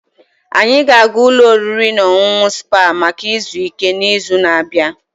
Anyị ga-aga ụlọ oriri na ọṅụṅụ Spa maka izu ike n'izu na-abịa